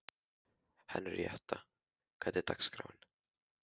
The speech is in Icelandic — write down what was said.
Henríetta, hvernig er dagskráin?